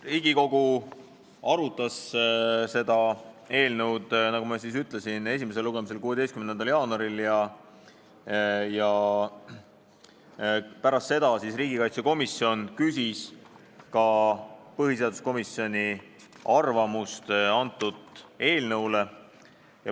Riigikogu arutas seda eelnõu, nagu ma ütlesin, esimesel lugemisel 16. jaanuaril ja pärast seda küsis riigikaitsekomisjon ka põhiseaduskomisjoni arvamust eelnõu kohta.